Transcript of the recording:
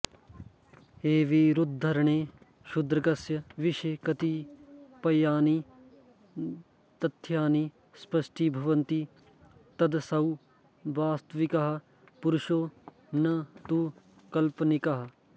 एभिरुद्धरणैः शूद्रकस्य विषये कतिपयानि तथ्यानि स्पष्टीभवन्ति यदसौ वास्तविकः पुरुषो न तु काल्पनिकः